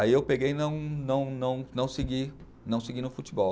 Aí eu peguei e não não, não, não segui, não segui no futebol.